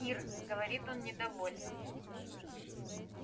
ир говорит он недовольно